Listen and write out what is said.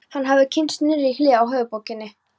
Hann hafði kynnst nýrri hlið á höfuðborginni.